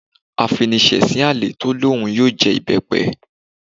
Afinisesin àlè tó ní òun yóò jẹ ìbẹ́pẹ